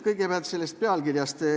Kõigepealt sellest pealkirjast.